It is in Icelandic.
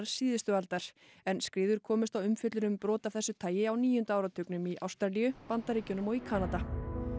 síðustu aldar en skriður komst á umfjöllun um brot af þessu tagi á níunda áratugnum í Ástralíu Bandaríkjunum og Kanada